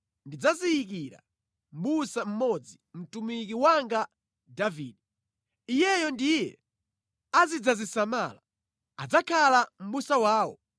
Ndidzaziyikira mʼbusa mmodzi, mtumiki wanga Davide. Iyeyo ndiye azidzazisamala. Adzakhala mʼbusa wawo.